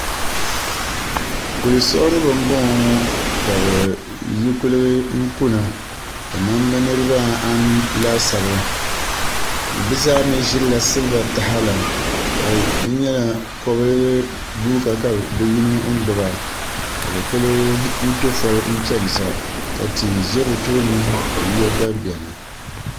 Kuli siɣiribi n boŋo ŋo ka bi yi kuligi kuna kamani bi niraba anu laasabu bi zaa mii ʒirila siliba taha la ka di nyɛla kom guuka ka bi yino gbuba ka bi kuli piɛ foli n chɛni sa ka tia ʒɛ bi tooni ka yiya gba biɛni